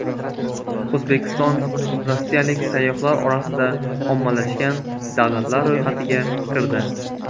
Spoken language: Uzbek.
O‘zbekiston rossiyalik sayyohlar orasida ommalashgan davlatlar ro‘yxatiga kirdi.